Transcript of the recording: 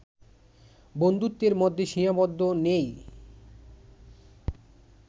বন্ধুত্বের মধ্যে সীমাবদ্ধ নেই